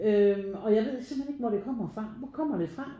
Øh og jeg ved simpelthen ikke hvor det kommer fra hvor kommet det fra?